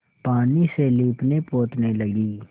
पानी से लीपनेपोतने लगी